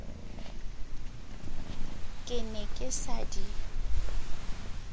ke ne ke sa di